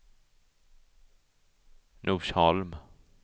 Norsholm